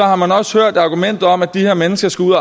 har man også hørt argumentet om at de her mennesker skulle